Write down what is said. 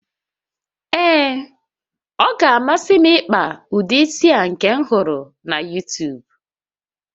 Ee, ọ ga-amasị m ịkpa ụdị isi a nke m hụrụ na YuuTuub